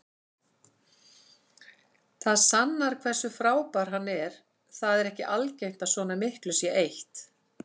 Það sannar hversu frábær hann er, það er ekki algengt að svona miklu sé eytt.